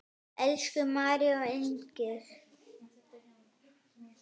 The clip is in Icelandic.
Elsku María og Inger.